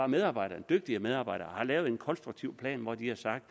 medarbejderne dygtige medarbejdere har lavet en konstruktiv plan hvor de har sagt